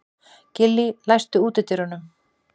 Gillý, læstu útidyrunum.